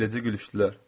Eləcə gülüşdülər.